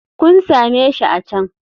Kun same shi a can.